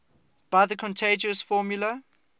by the continuous formula